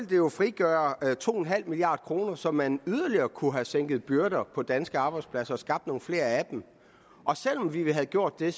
jo frigøre to milliard kr så man yderligere kunne have sænket byrder på danske arbejdspladser og skabt nogle flere af dem og selv om vi havde gjort det